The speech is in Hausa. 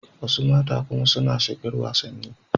Wasu mata kuma suna shigar wasanni.